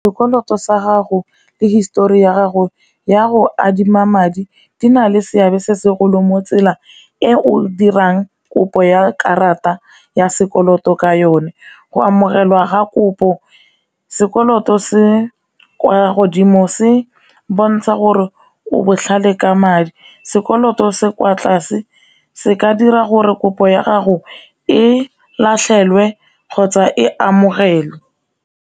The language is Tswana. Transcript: Sekoloto sa gago le histori ya gago ya go adima madi di na le seabe se segolo mo tsela e o dirang kopo ya karata ya sekoloto ka yone, go amogelwa ga kopo. Sekoloto se kwa godimo se bontsha gore o botlhale ka madi sekoloto se kwa tlase se ka dira gore kopo ya gago e latlhelwe kgotsa e amogelwe.